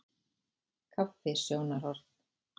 Kaffi- sjónarhorn.